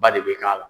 Ba de bɛ k'a la